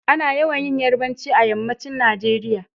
Ana yawan yin yarbanci a yammacin Nageriya